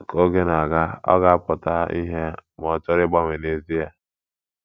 Ka oge na - aga, ọ ga - apụta ìhè ma ọ̀ chọrọ ịgbanwe n’ezie.